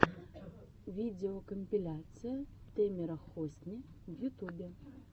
видеокомпиляция тэмера хосни в ютубе